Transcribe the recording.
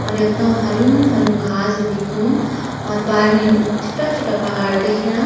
और यख तों हर्युं हर्युं घास भी दिख्युं और पार मी छुट्टा छुट्टा पहाड़ दिखेणा।